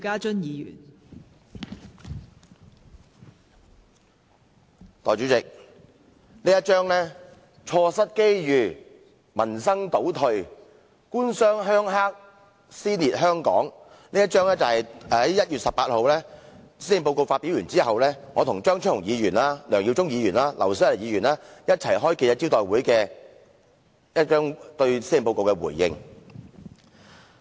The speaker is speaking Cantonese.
代理主席，"錯失機遇，民生倒退，官商鄉黑，撕裂香港"，這是我與張超雄議員、梁耀忠議員和劉小麗議員，在1月18日施政報告發表後一起召開記者招待會時對施政報告的回應。